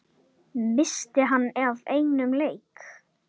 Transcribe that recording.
missti hann af einum leik?